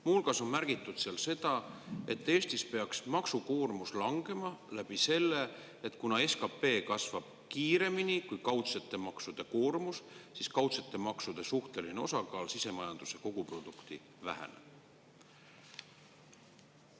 Muu hulgas on märgitud seal seda, et Eestis peaks maksukoormus langema läbi selle, et kuna SKP kasvab kiiremini kui kaudsete maksude koormus, siis kaudsete maksude suhteline osakaal sisemajanduse koguproduktis väheneb.